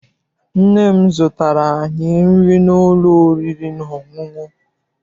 Nne m zụtara anyị nri n'ụlọ oriri na ọṅụṅụ.